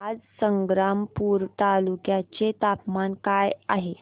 आज संग्रामपूर तालुक्या चे तापमान काय आहे